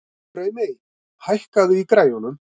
Draumey, hækkaðu í græjunum.